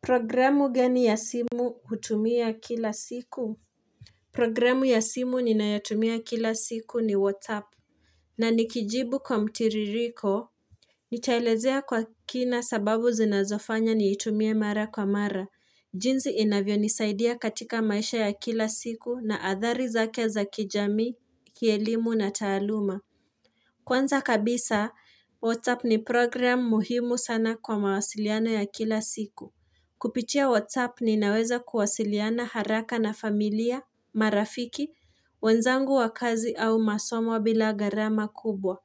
Programu gani ya simu hutumia kila siku Programu ya simu ninayotumia kila siku ni WhatsApp na nikijibu kwa mtiririko Nitaelezea kwa kina sababu zinazofanya niitumie mara kwa mara jinsi inavyo nisaidia katika maisha ya kila siku na athari zake za kijamii, kielimu na taaluma Kwanza kabisa WhatsApp ni program muhimu sana kwa mawasiliano ya kila siku Kupitia WhatsApp ninaweza kuwasiliana haraka na familia, marafiki, wenzangu wa kazi au masomo bila garama kubwa.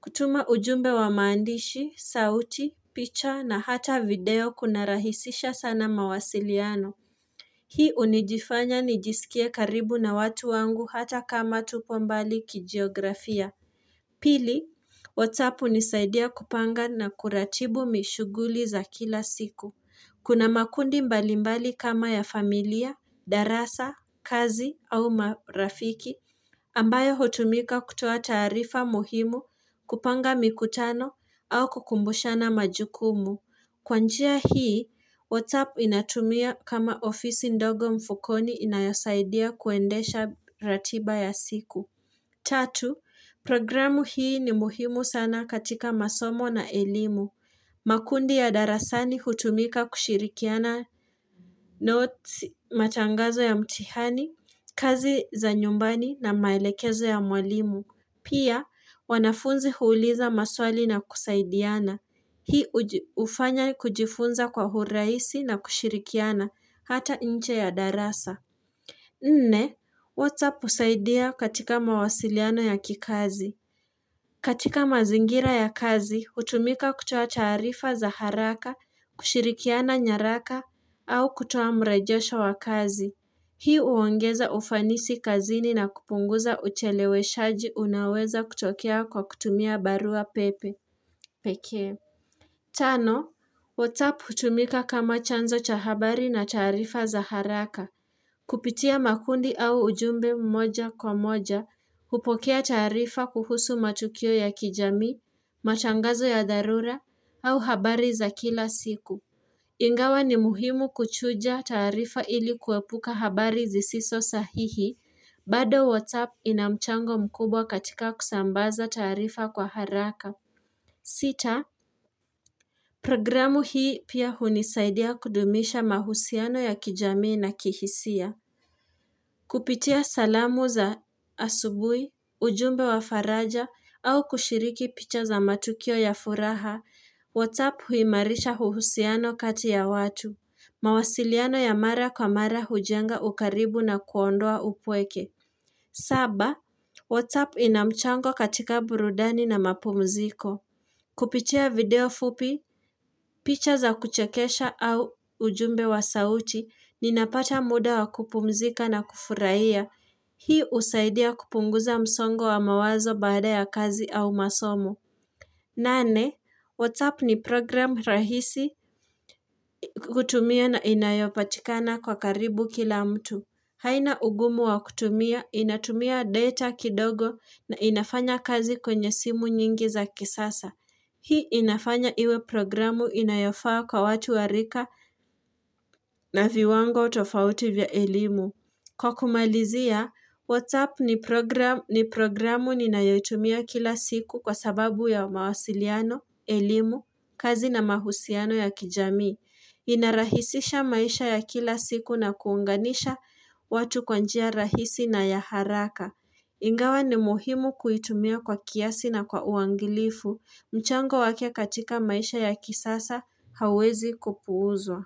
Kutuma ujumbe wa maandishi, sauti, picha na hata video kunarahisisha sana mawasiliano. Hii unijifanya nijisikie karibu na watu wangu hata kama tupo mbali kijiografia. Pili, WhatsApp unisaidia kupanga na kuratibu mishuguli za kila siku. Kuna makundi mbalimbali kama ya familia, darasa, kazi au marafiki ambayo hutumika kutoa taarifa muhimu kupanga mikutano au kukumbushana majukumu. Kwa njia hii, WhatsApp inatumia kama ofisi ndogo mfukoni inayosaidia kuendesha ratiba ya siku. Tatu, programu hii ni muhimu sana katika masomo na elimu. Makundi ya darasani hutumika kushirikiana noti matangazo ya mtihani, kazi za nyumbani na maelekezo ya mwalimu. Pia, wanafunzi huuliza maswali na kusaidiana. Hii ufanya kujifunza kwa urahisi na kushirikiana, hata inche ya darasa. Nne, WhatsApp husaidia katika mawasiliano ya kikazi. Katika mazingira ya kazi, hutumika kutoa taarifa za haraka, kushirikiana nyaraka, au kutoa mrejosho wa kazi. Hii uongeza ufanisi kazini na kupunguza ucheleweshaji unaoweza kutokea kwa kutumia barua pepe. Pekee. Tano, WhatsApp hutumika kama chanzo cha habari na taarifa za haraka. Kupitia makundi au ujumbe mmoja kwa moja, hupokea taarifa kuhusu matukio ya kijamii, matangazo ya dharura, au habari za kila siku. Ingawa ni muhimu kuchuja taarifa ili kuwepuka habari zisiso sahihi, bado WhatsApp inamchango mkubwa katika kusambaza taarifa kwa haraka. Sita, programu hii pia hunisaidia kudumisha mahusiano ya kijamii na kihisia. Kupitia salamu za asubui, ujumbe wa faraja au kushiriki picha za matukio ya furaha, whatsapp huimarisha uhusiano kati ya watu, mawasiliano ya mara kwa mara hujenga ukaribu na kuondoa upweke. Saba, whats app ina mchango katika burudani na mapumziko. Kupitia video fupi, picha za kuchekesha au ujumbe wa sauti, ninapata muda wa kupumzika na kufurahia. Hii usaidia kupunguza msongo wa mawazo baada ya kazi au masomo. Nane, WhatsApp ni program rahisi kutumia na inayopatikana kwa karibu kila mtu. Haina ugumu wa kutumia, inatumia data kidogo na inafanya kazi kwenye simu nyingi za kisasa. Hii inafanya iwe programu inayofaa kwa watu wa rika na viwango tofauti vya elimu. Kwa kumalizia, WhatsApp ni programu ninayoitumia kila siku kwa sababu ya mawasiliano, elimu, kazi na mahusiano ya kijamii. Inarahisisha maisha ya kila siku na kuunganisha watu kwa njia rahisi na ya haraka Ingawa ni muhimu kuitumia kwa kiasi na kwa uangilifu mchango wake katika maisha ya kisasa hauwezi kupuuzwa.